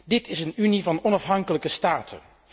Dit is een Unie van onafhankelijke staten.